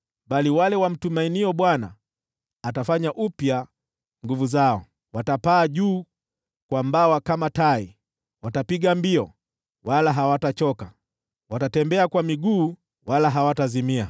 bali wale wamtumainio Bwana atafanya upya nguvu zao. Watapaa juu kwa mbawa kama tai; watapiga mbio wala hawatachoka, watatembea kwa miguu wala hawatazimia.